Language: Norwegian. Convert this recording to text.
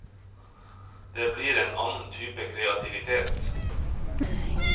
Det blir en annen type kreativitet.